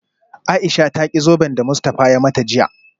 Aisha ta ki zoben da Mustafa ya mata jiya